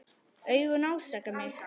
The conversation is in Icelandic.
Augun ásaka mig.